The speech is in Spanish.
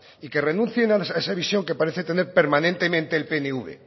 y que renuncien a esa visión que parece tener permanentemente el pnv